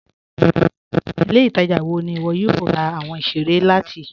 Ilẹ̀-ìtaja wọ̀ ní iwọ yóò rà awọn ìṣẹ̀rẹ̀ láti?